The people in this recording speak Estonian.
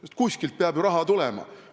Aga kuskilt peab ju raha tulema.